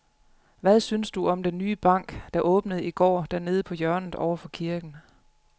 Hvad synes du om den nye bank, der åbnede i går dernede på hjørnet over for kirken?